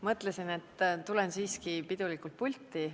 Mõtlesin, et tulen siiski pidulikult pulti.